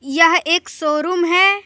यह एक शोरूम है।